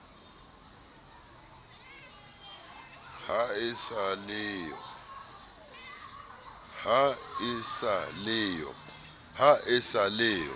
ha e sa le yo